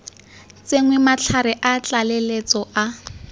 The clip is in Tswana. tsenngwe matlhare a tlaleletso a